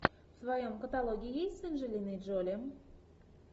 в твоем каталоге есть с анджелиной джоли